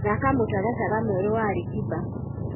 thaka mũtaratara mwerũ wa Ali kiba